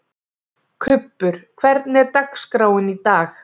Kubbur, hvernig er dagskráin í dag?